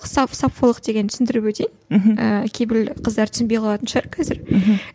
саффолық дегенді түсіндіріп өтейін мхм кейбіреулер қыздар түсінбей қалатын шығар қазір мхм